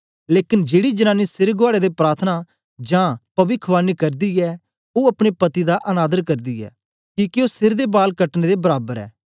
लेकन जेड़ी जनांनी सिर गुआड़े दे प्रार्थना जां पविखवाणी करदी ऐ ओ अपने पति दा अनादर करदी ऐ किके ओ सिर दे बाल कटने दे बराबर ऐ